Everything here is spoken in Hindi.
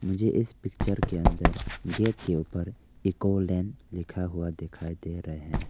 मुझे इस पिक्चर के अंदर गेट के ऊपर एक ऑनलाइन लिखा हुआ दिखाई दे रहे हैं।